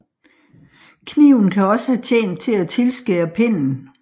Kniven kan også have tjent til at tilskære pennen